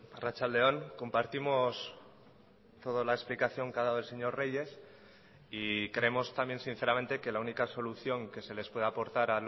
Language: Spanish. arratsalde on compartimos toda la explicación que ha dado el señor reyes y creemos también sinceramente que la única solución que se les puede aportar